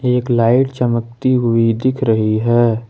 एक लाइट चमकती हुई दिख रही है।